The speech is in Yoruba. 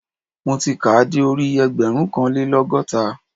Mo ti kàá de orí ẹgbẹ̀rúnkanlélọ́gọ́ta